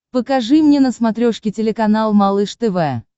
покажи мне на смотрешке телеканал малыш тв